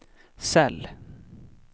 cell